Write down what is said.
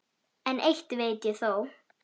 En eitt veit ég þó.